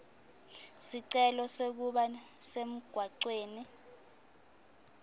sicelo sekuba semgwaceni